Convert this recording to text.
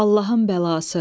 Allahın bəlası.